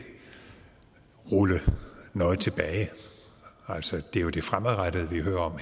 rulle noget tilbage altså det er jo det fremadrettede vi hører